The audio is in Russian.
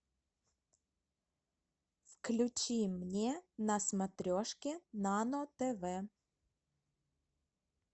включи мне на смотрешке нано тв